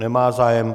Nemá zájem.